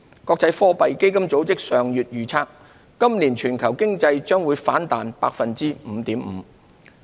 國際貨幣基金組織上月預測今年全球經濟將反彈 5.5%。